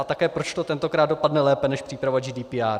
A také, proč to tentokrát dopadne lépe než příprava GDPR.